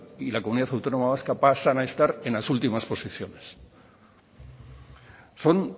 y la comunidad autónoma vasca pasan a estar en las últimas posiciones son